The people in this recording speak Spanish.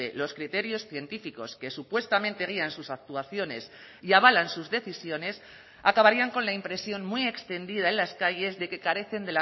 los criterios científicos que supuestamente guían sus actuaciones y avalan sus decisiones acabarían con la impresión muy extendida en las calles de que carecen